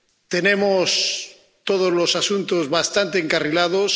Tenemos todos los asuntos bastante encarrilados